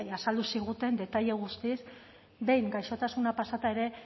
azaldu ziguten detaile guztiz behin gaixotasuna pasata ere